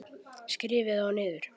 Skrifið þá niður.